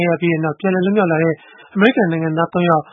ရပြီးနောက် ပြန်လည်လွတ်မြောက်လာတဲ့ အမေရိကန်နိုင်ငံသား ၃ ယောက်